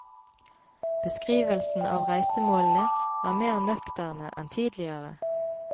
Beskrivelsen av reisemålene er mer nøkterne enn tidligere.